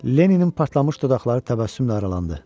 Lenninin partlamış dodaqları təbəssümlə aralandı.